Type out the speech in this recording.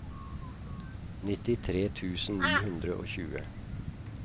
nittitre tusen ni hundre og tjue